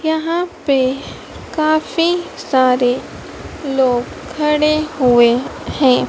यहां पे काफी सारे लोग खड़े हुए हैं।